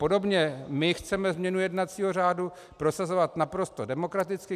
Podobně my chceme změnu jednacího řádu prosazovat naprosto demokraticky.